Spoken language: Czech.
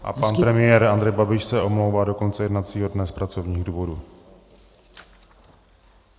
A pan premiér Andrej Babiš se omlouvá do konce jednacího dne z pracovních důvodů.